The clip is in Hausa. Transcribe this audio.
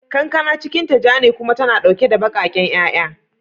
Kankana cikinta ja ne kuma tana dauke da bakaken 'ya'ya.